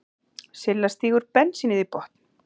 Silla stígur bensínið í botn.